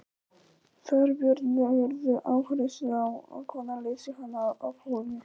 Þorbjörn: Leggurðu áherslu á að kona leysi hana af hólmi?